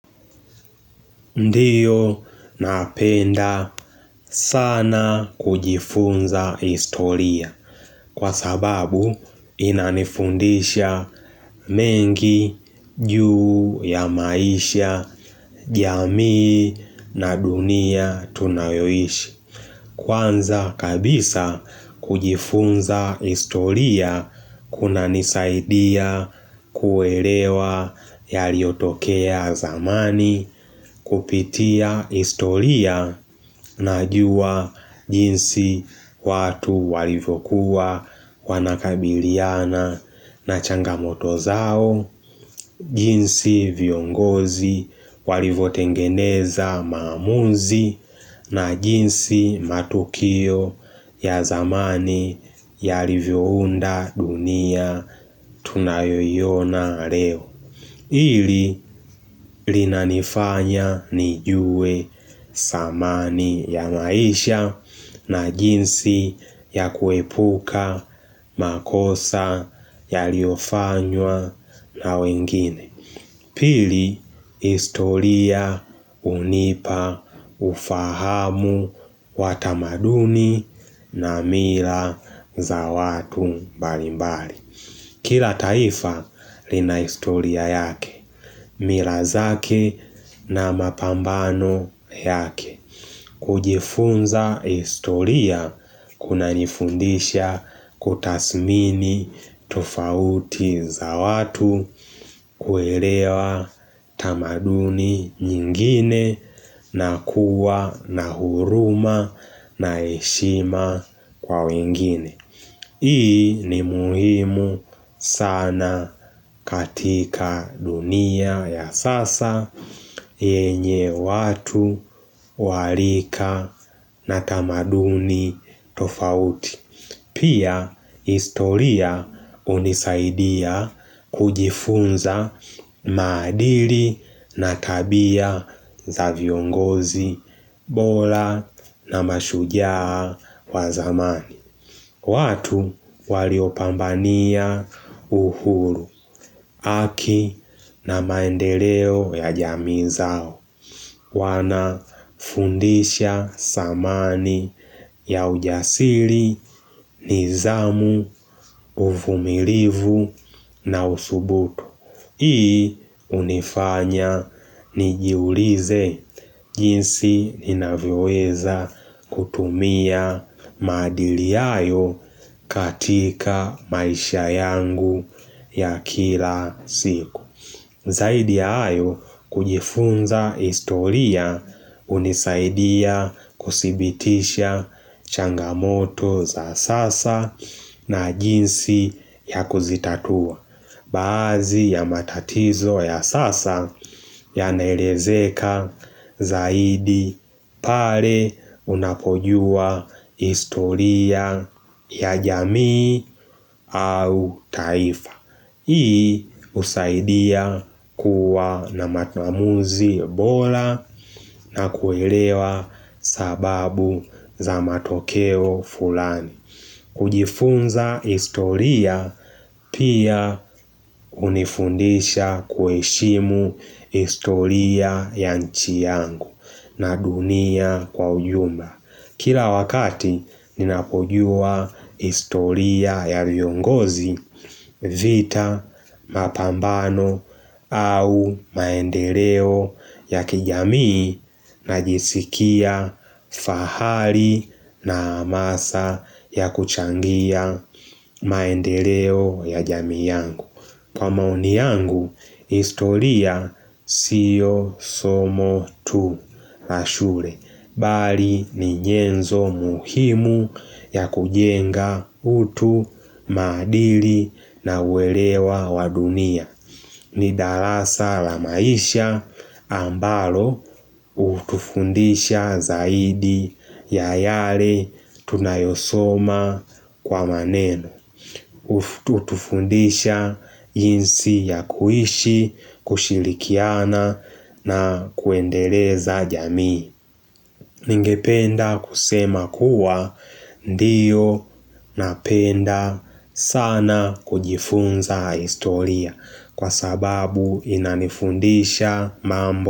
Ndiyo napenda sana kujifunza historia kwa sababu inanifundisha mengi juu ya maisha, jamii na dunia tunayoishi. Hh Kwanza kabisa kujifunza historia kuna nisaidia kuelewa ya liotokea zamani kupitia historia mhh najuwa jinsi watu walivokuwa wanakabiliana na changamoto zao jinsi viongozi walivotengeneza maamuzi na jinsi matukio ya zamani yalivyo unda dunia tunayo iyona leo Hili linanifanya nijue samani ya maisha na jinsi ya kuepuka makosa yaliofanywa na wengine Pili, historia, hunipa, ufahamu, watamaduni na mira za watu mbari mbari. Kila taifa lina historia yake, mira zake na mapambano yake. Mhh kujifunza historia kuna nifundisha kutasmini tufauti za watu mhh kuelewa tamaduni nyingine na kuwa na huruma na heshima kwa wengine. Hii ni muhimu sana katika dunia ya sasa yenye watu wa rika na tamaduni tofauti. Pia historia unisaidia kujifunza maadili na tabia za viongozi bora na mashujaa wa zamani. Ku watu waliopambania uhuru, aki na maendeleo ya jami zao, wana fundisha samani ya ujasiri, nizamu, uhh uvumilivu na usubutu Hii unifanya nijiulize jinsi ninavyoweza kutumia maadili ayo katika maisha yangu ya kila siku.mhh zi Zaidi ya ayo kujifunza historia unisaidia kusibitisha changamoto za sasa na jinsi ya kuzitatua Baazi ya matatizo ya sasa yana elezeka zaidi pale unapojua historia ya jamii au taifa Hii usaidia kuwa na matamuzi bola na kuelewa sababu za matokeo fulani kujifunza historia pia kunifundisha kueshimu historia ya nchi yangu, na dunia kwa ujumla Kila wakati ninapojua historia ya viongozi, mhh vi vita, mapambano au maendeleo ya kijamii na jisikia fahali na amasa ya kuchangia maendeleo ya jamii yangu. Kwa maoni yangu, historia sio somo tu la shule. Bali ni njenzo muhimu ya kujenga utu, maadili na uwelewa wadunia. Ni darasa la maisha ambalo utufundisha zaidi ya yale tunayosoma kwa maneno. Utufundisha jinsi ya kuishi, kushilikiana na kuendeleza jamii Ningependa kusema kuwa ndiyo napenda sana kujifunza historia, Kwa sababu inanifundisha mambo.